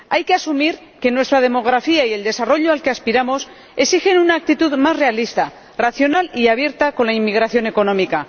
Hay que asumir que nuestra demografía y el desarrollo al que aspiramos exigen una actitud más realista, racional y abierta con la inmigración económica.